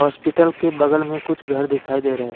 Hospital के बगल में कुछ घर दिखाई दे रहे है।